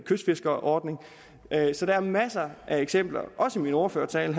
kystfiskerordning så der er masser af eksempler også i min ordførertale